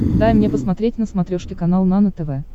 дай мне посмотреть на смотрешке канал нано тв